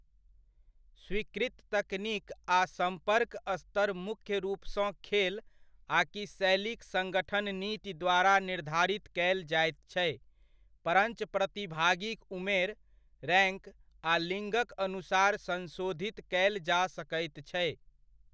स्वीकृत तकनीक आ सम्पर्क स्तर मुख्य रूपसँ खेल आकि शैलीक संगठन नीति द्वारा निर्धारित कयल जायत छै, परञ्च प्रतिभागीक उमेर, रैङ्क आ लिङ्गक अनुसार संशोधित कयल जा सकैत छै।